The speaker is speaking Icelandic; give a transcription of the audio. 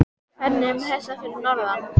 Hvernig er með þessa fyrir norðan?